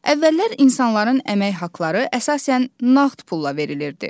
Əvvəllər insanların əmək haqları əsasən nağd pulla verilirdi.